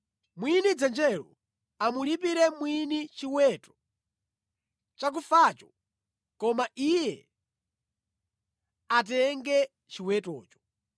mwini dzenjelo amulipire mwini chiweto chakufacho koma iye atenge chiwetocho.